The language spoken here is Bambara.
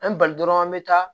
An ye bali an bɛ taa